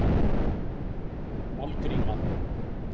Kolgríma